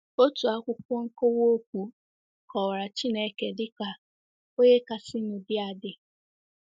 Otu akwụkwọ nkọwa okwu kọwara “ Chineke ” dị ka “ onye kasịnụ dị adị .”